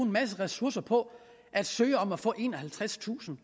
masse ressourcer på at søge om at få enoghalvtredstusind